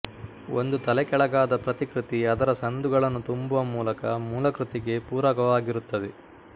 ಒಂದು ತಲೆಕೆಳಗಾದ ಪ್ರತಿಕೃತಿ ಅದರ ಸಂದುಗಳನ್ನು ತುಂಬುವ ಮೂಲಕ ಮೂಲಕೃತಿಗೆ ಪೂರಕವಾಗಿರುತ್ತದೆ